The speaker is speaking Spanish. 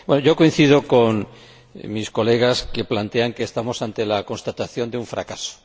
Yo coincido con mis colegas, que plantean que estamos ante la constatación de un fracaso.